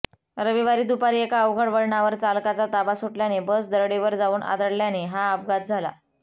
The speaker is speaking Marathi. रविवारी दुपारी एका अवघड वळणावर चालकाचा ताबा सुटल्याने बस दरडीवर जाऊन आदळल्याने हा अपघात झाला